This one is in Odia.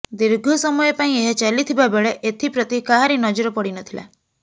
ଦୀର୍ଘ ସମୟ ପାଇଁ ଏହା ଚାଲିଥିବା ବେଳେ ଏଥିପ୍ରତି କାହାରି ନଜର ପଡ଼ି ନଥିଲା